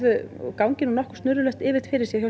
gangi nú nokkuð snurðulaust fyrir sig